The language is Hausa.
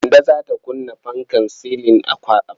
Kande za ta kunna fankar silin a falo.